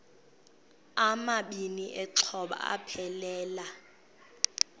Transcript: amabini exhobe aphelela